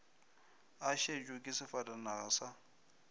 a šetšwe ke sefatanaga sa